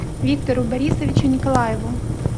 виктору борисовичу николаеву